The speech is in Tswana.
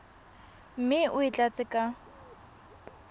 mme o e tlatse ka